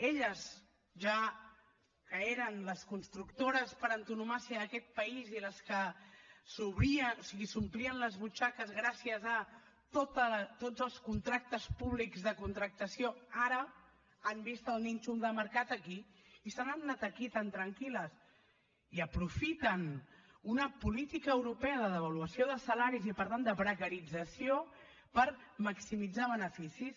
elles que eren les constructores per antonomàsia d’aquest país i les que s’omplien les butxaques gràcies a tots els contractes públics de contractació ara han vist el nínxol de mercat aquí i se n’han anat aquí tan tranquil·les i aprofiten una política europea de devaluació de salaris i per tant de precarització per maximitzar beneficis